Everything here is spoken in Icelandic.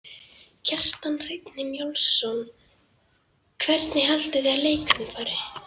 Kjartan Hreinn Njálsson: Hvernig haldið þið að leikurinn fari?